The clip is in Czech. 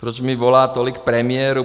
Proč mi volá tolik premiérů?